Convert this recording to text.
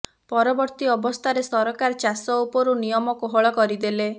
ପରବର୍ତ୍ତୀ ଅବସ୍ଥାରେ ସରକାର ଚାଷ ଉପରୁ ନିୟମ କୋହଳ କରି ଦେଲେ